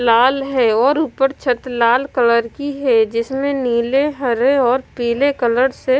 लाल है और ऊपर छत लाल कलर की है जिसमें नीले हरे और पीले कलर से--